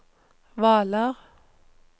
Hvaler